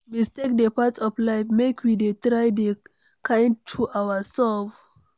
Mistakes dey part of life, make we dey try dey kind to ourselves